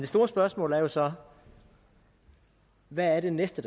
store spørgsmål er jo så hvad det næste